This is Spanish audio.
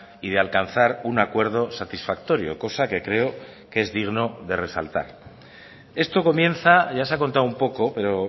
y de alcanzar un acuerdo satisfactorio cosa que creo que es digno de resaltar esto comienza ya se ha contado un poco pero